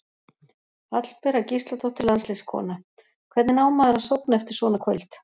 Hallbera Gísladóttir landsliðskona: Hvernig á maður að sofna eftir svona kvöld?